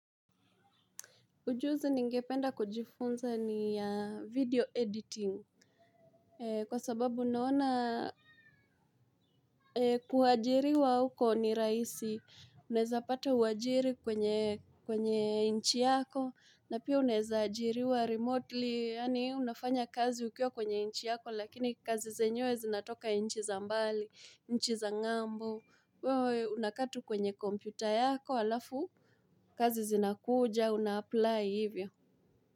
Ujuzi ningependa kujifunza ni ya video editing. Kwa sababu naona kuwajiriwa huko ni rahisi. Unaezapata uwajiri kwenye nchi yako. Na pia unaeza ajiriwa remotely. Yani unafanya kazi ukiwa kwenye nchi yako. Lakini kazi zenyewe zinatoka nchi za mbali. Nchi za ngambo. Unakaa tu kwenye kompyuta yako. Alafu kazi zinakuja. Unaapply hivyo.